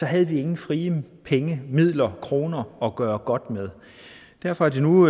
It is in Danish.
havde nogen frie penge midler kroner at gøre godt med derfor er det nu